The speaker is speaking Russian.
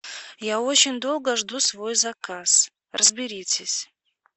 я очень долго жду свой заказ разберитесь